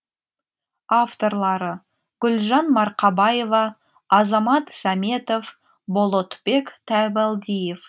авторлары гүлжан марқабаева азамат сәметов болотбек табалдиев